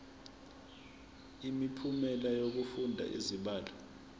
imiphumela yokufunda izibalo